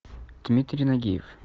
дмитрий нагиев